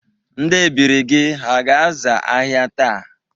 Ndị ebiri gị ha ga-aza ahịa taa?